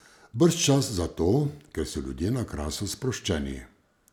Brž čas zato, ker so ljudje na Krasu sproščeni.